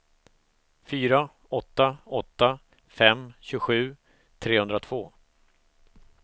fyra åtta åtta fem tjugosju trehundratvå